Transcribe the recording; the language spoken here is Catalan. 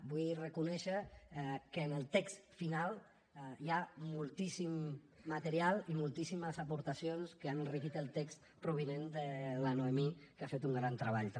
vull reconèixer que en el text final hi ha moltíssim material i moltíssimes aportacions que han enriquit el text provinent de la noemí que ha fet un gran treball també